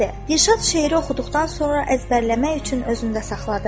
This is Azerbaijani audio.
Dilşad şeiri oxuduqdan sonra əzbərləmək üçün özündə saxladı.